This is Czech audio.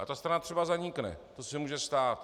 A ta strana třeba zanikne, to se může stát.